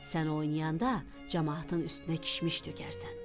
Sən oynayanda camaatın üstünə kişmiş tökərsən.